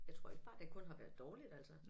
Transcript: Jeg tror ikke bare det kun har været dårligt altså